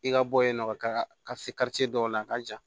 I ka bɔ yen nɔ ka se dɔw la a ka jan